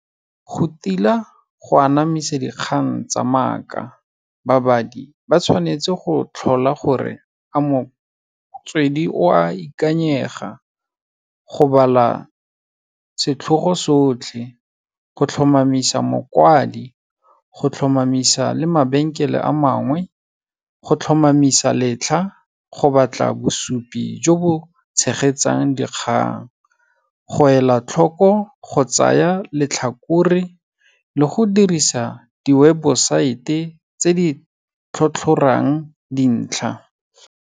Go tila go anamisa dikgang tsa maaka, babadi, ba tshwanetse go tlhola gore a motswedi o a ikanyega, go bala setlhogo sotlhe, go tlhomamisa mokwadi, go tlhomamisa le mabenkele a mangwe, go tlhomamisa letlha, go batla bosupi jo bo tshegetsang dikgang, go ela tlhoko, go tsaya letlhakore le go dirisa di-website-e tse di tlhotlhorang dintlha.